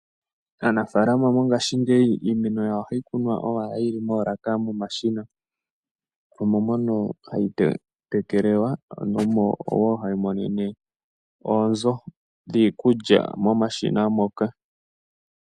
Aanafaalama mongashingeyi iimeno yawo ohayi kunwa owala yi li moolaka momashina, omo mono hayi tekelelwa mo omo wo hayi monene oonzo dhiikulya momashina moka.